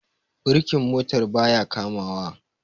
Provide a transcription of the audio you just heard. birkin motar ba ya kamawa